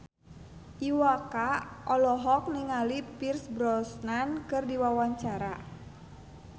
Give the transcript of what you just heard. Iwa K olohok ningali Pierce Brosnan keur diwawancara